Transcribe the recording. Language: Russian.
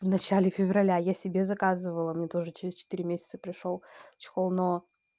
в начале февраля я себе заказывала мне тоже через четыре месяца пришёл чехол но